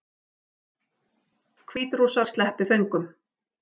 Hvítrússar sleppi föngum